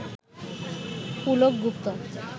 Pulak Gupta